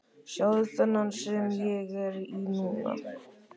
Sjáðu þennan sem ég er í núna?